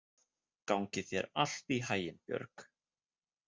Gangi þér allt í haginn, Björg.